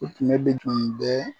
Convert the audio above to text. O finɛ de kun bɛ